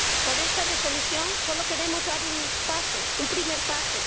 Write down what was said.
Con esta Resolución solo queremos dar un primer paso.